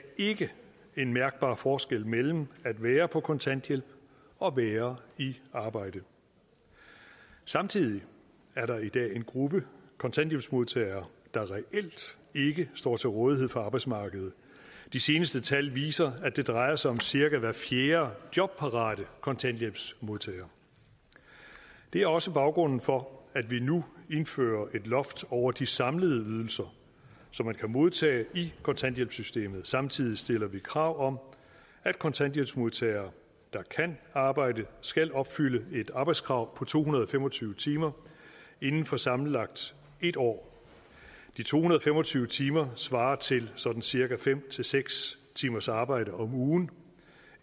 ikke en mærkbar forskel mellem at være på kontanthjælp og være i arbejde samtidig er der i dag en gruppe kontanthjælpsmodtagere der reelt ikke står til rådighed for arbejdsmarkedet de seneste tal viser at det drejer sig om cirka hver fjerde jobparate kontanthjælpsmodtager det er også baggrunden for at vi nu indfører et loft over de samlede ydelser som man kan modtage i kontanthjælpssystemet og samtidig stiller vi krav om at kontanthjælpsmodtagere der kan arbejde skal opfylde et arbejdskrav på to hundrede og fem og tyve timer inden for sammenlagt en år de to hundrede og fem og tyve timer svarer til sådan cirka fem seks timers arbejde om ugen